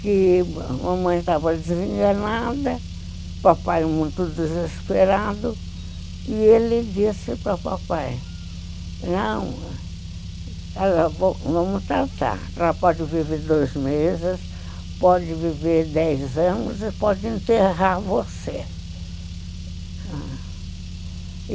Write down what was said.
que a mamãe estava desenganada, papai muito desesperado, e ele disse para papai, não, vamos tentar, ela pode viver dois meses, pode viver dez anos e pode enterrar você.